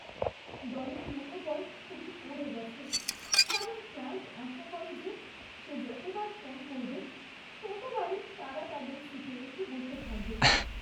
দলের মনোবল খুবই পড়ে গেছে কারণ ক্লায়েণ্ট আশা করে যে সে যতবার ফোন করবে ততবারই তারা তাদের সিটে এসে বসে থাকবে।